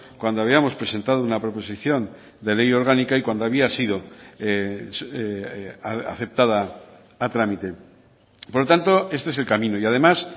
cuando habíamos presentado una proposición de ley orgánica y cuando había sido aceptada a trámite por lo tanto este es el camino y además